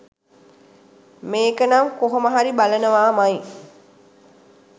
මේකනම් කොහොම හරි බලනවාමයි.